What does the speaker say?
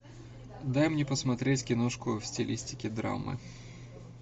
дай мне посмотреть киношку в стилистике драмы